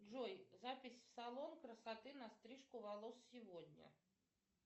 джой запись в салон красоты на стрижку волос сегодня